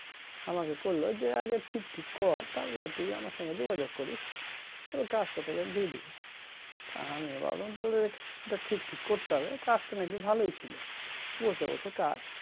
আমাকে কইলো যে আগে ঠিক ঠিক কর তারপরে তুই আমার সঙ্গে যোগাযোগ করিস তবে কাজটা তোকে দিয়ে দিবো তা হামি আবার বললাম তাহলে এটা ঠিক টিক করতে হবে কাজটা নাকি ভালোই ছিল বসে বসে কাজ